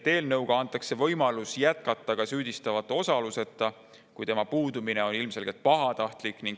Eelnõu kohaselt antakse võimalus jätkata menetlust ka süüdistatava osaluseta, kui tema puudumine on ilmselgelt pahatahtlik.